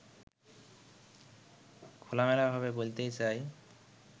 খোলামেলাভাবে বলতে চাই